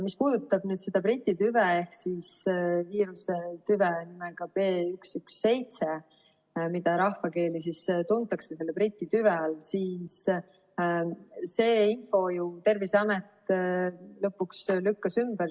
Mis puudutab nüüd seda Briti tüve ehk siis viiruse tüve nimega B117, mida rahvakeeli tuntakse Briti tüvena, siis selle info ju Terviseamet lõpuks lükkas ümber.